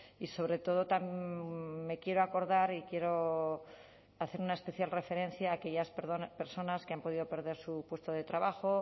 y sobre todo me quiero acordar y quiero hacer una especial referencia a aquellas personas que han podido perder su puesto de trabajo